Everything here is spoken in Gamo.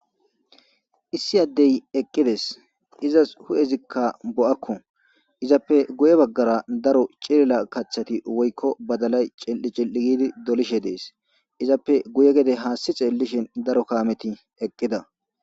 Issi adeyi eqidees.izas huuezikka bo'akko .izappe guye bagara daro cilila kaththayi woyikko badalayi cili'i cili'i gidi dolishshe dees.izappe guye gede hassi xeelishinn daro kametti eqqidda .